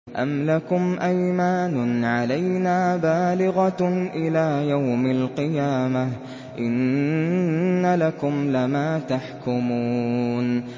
أَمْ لَكُمْ أَيْمَانٌ عَلَيْنَا بَالِغَةٌ إِلَىٰ يَوْمِ الْقِيَامَةِ ۙ إِنَّ لَكُمْ لَمَا تَحْكُمُونَ